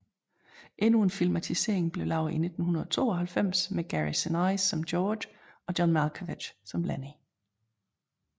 Endnu en filmatisering blev lavet i 1992 med Gary Sinise som George og John Malkovich som Lennie